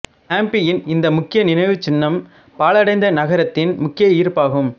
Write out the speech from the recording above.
ஹம்பியின் இந்த முக்கிய நினைவுச்சின்னம் பாழடைந்த நகரத்தின் முக்கிய ஈர்ப்பாகும்